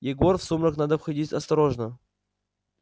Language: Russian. егор в сумрак надо входить осторожно